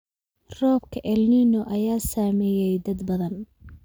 Roobabka El Nino ayaa saameeyay dad badan